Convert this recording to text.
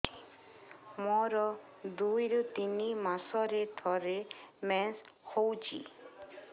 ମୋର ଦୁଇରୁ ତିନି ମାସରେ ଥରେ ମେନ୍ସ ହଉଚି